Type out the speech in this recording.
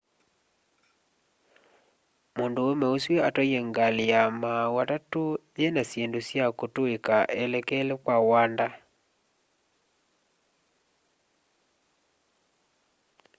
mũndũũme ũsu atwaie ngalĩ ya maaũ atatũ yĩna syĩndũ sya kũtũĩka elekele kwa wanda